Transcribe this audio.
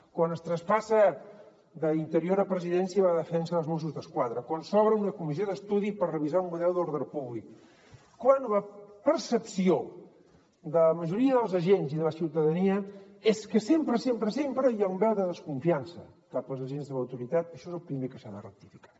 quan es traspassa d’interior a presidència la defensa dels mossos d’esquadra quan s’obre una comissió d’estudi per revisar el model d’ordre públic quan la percepció de la majoria dels agents i de la ciutadania és que sempre hi ha una veu de desconfiança cap als agents de l’autoritat això és el primer que s’ha de rectificar